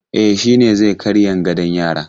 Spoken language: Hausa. E, shi ne zai karyan gadon yaran.